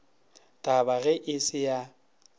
tab age e se ya